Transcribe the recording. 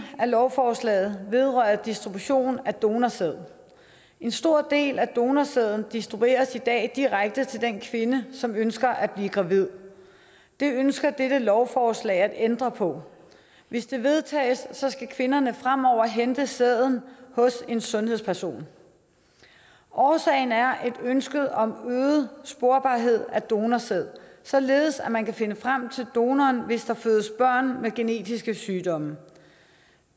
af lovforslaget vedrører distribution af donorsæd en stor del af donorsæden distribueres i dag direkte til den kvinde som ønsker at blive gravid det ønsker dette lovforslag at ændre på hvis det vedtages skal kvinderne fremover hente sæden hos en sundhedsperson årsagen er et ønske om øget sporbarhed af donorsæd således at man kan finde frem til donoren hvis der fødes børn med genetiske sygdomme